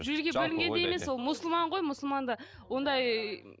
жерге бөлінгенде емес ол мұсылман ғой мұсылманда ондай